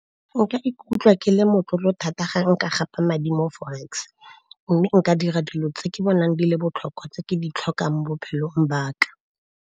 Nka ikutlwa ke le motlotlo thata ga nka gapa madi mo forex. Mme nka dira dilo tse ke bonang di le botlhokwa, tse ke di tlhokang bophelong baka.